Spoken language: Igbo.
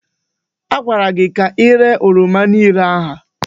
Agwara gị ka iréé oroma niile a!